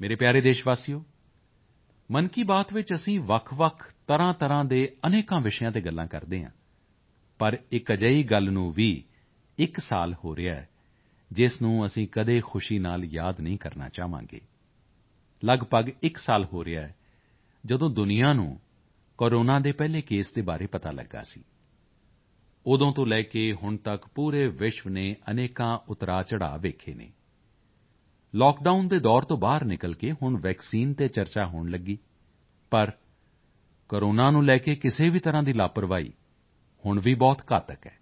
ਮੇਰੇ ਪਿਆਰੇ ਦੇਸ਼ਵਾਸੀਓ ਮਨ ਕੀ ਬਾਤ ਵਿੱਚ ਅਸੀਂ ਵੱਖਵੱਖ ਤਰ੍ਹਾਂਤਰ੍ਹਾਂ ਦੇ ਅਨੇਕਾਂ ਵਿਸ਼ਿਆਂ ਤੇ ਗੱਲ ਕਰਦੇ ਹਾਂ ਪਰ ਇੱਕ ਅਜਿਹੀ ਗੱਲ ਨੂੰ ਵੀ ਇੱਕ ਸਾਲ ਹੋ ਰਿਹਾ ਹੈ ਜਿਸ ਨੂੰ ਅਸੀਂ ਕਦੇ ਖੁਸ਼ੀ ਨਾਲ ਯਾਦ ਨਹੀਂ ਕਰਨਾ ਚਾਹਾਂਗੇ ਲਗਭਗ ਇੱਕ ਸਾਲ ਹੋ ਰਿਹਾ ਹੈ ਜਦੋਂ ਦੁਨੀਆ ਨੂੰ ਕੋਰੋਨਾ ਦੇ ਪਹਿਲੇ ਕੇਸ ਦੇ ਬਾਰੇ ਪਤਾ ਲੱਗਾ ਸੀ ਉਦੋਂ ਤੋਂ ਲੈ ਕੇ ਹੁਣ ਤੱਕ ਪੂਰੇ ਵਿਸ਼ਵ ਨੇ ਅਨੇਕਾਂ ਉਤਾਰਚੜ੍ਹਾਅ ਵੇਖੇ ਹਨ ਲਾਕਡਾਊਨ ਦੇ ਦੌਰ ਤੋਂ ਬਾਹਰ ਨਿਕਲ ਕੇ ਹੁਣ ਵੈਕਸੀਨ ਤੇ ਚਰਚਾ ਹੋਣ ਲੱਗੀ ਪਰ ਕੋਰੋਨਾ ਨੂੰ ਲੈ ਕੇ ਕਿਸੇ ਵੀ ਤਰ੍ਹਾਂ ਦੀ ਲਾਪ੍ਰਵਾਹੀ ਹੁਣ ਵੀ ਬਹੁਤ ਘਾਤਕ ਹੈ